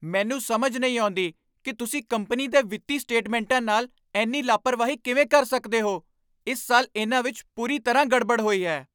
ਮੈਨੂੰ ਸਮਝ ਨਹੀਂ ਆਉਂਦੀ ਕਿ ਤੁਸੀਂ ਕੰਪਨੀ ਦੇ ਵਿੱਤੀ ਸਟੇਟਮੈਂਟਾਂ ਨਾਲ ਇੰਨੀ ਲਾਪਰਵਾਹੀ ਕਿਵੇਂ ਕਰ ਸਕਦੇ ਹੋ। ਇਸ ਸਾਲ ਇਹਨਾਂ ਵਿੱਚ ਪੂਰੀ ਤਰ੍ਹਾਂ ਗੜਬੜ ਹੋਈ ਹੈ।